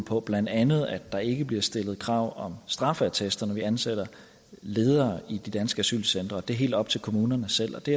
på blandt andet at der ikke bliver stillet krav om straffeattest når vi ansætter ledere i de danske asylcentre det er helt op til kommunerne selv det